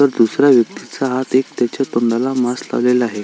तर दुसऱ्या व्यक्तीचा हात एक त्याच्या तोंडाला मास्क लावलेला आहे.